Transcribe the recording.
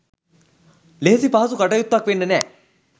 ලෙහෙසි පහසු කටයුත්තක් වෙන්නෙ නෑ.